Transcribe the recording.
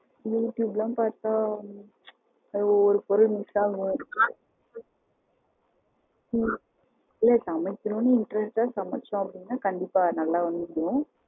You டுயூப் எல்லாம் பாத்தா ஒவ்வொரு பொருள் miss ஆகும் ஹம் இல்ல சமைக்கனுன்னு interest அ சமைச்சோம் அப்படின்னா கண்டிப்பா நல்லா வந்துரும்.